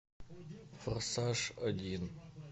форсаж один